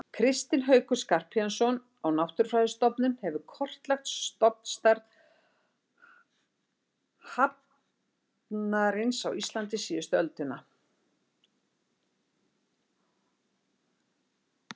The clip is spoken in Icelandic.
Kristinn Haukur Skarphéðinsson á Náttúrufræðistofnun hefur kortlagt stofnstærð hafarnarins á Íslandi síðustu öldina.